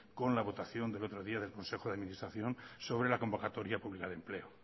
con la votación del otro día del consejo de administración sobre la convocatoria pública de empleo